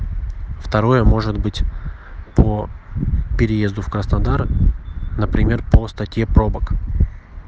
второе может быть по переезду в краснодар например по статье пробок